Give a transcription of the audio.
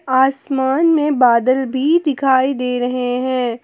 आसमान में बादल भी दिखाई दे रहे हैं।